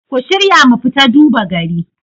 ku shirya mu fita duba gari